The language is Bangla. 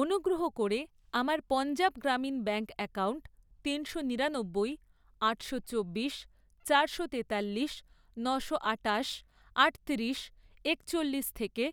অনুগ্রহ করে আমার পঞ্জাব গ্রামীণ ব্যাঙ্ক অ্যাকাউন্ট তিনশো নিরানব্বই, আটশো চব্বিশ, চারশো তেতাল্লিশ, নশো আটাশ, আটতিরিশ, একচল্লিশ থেকে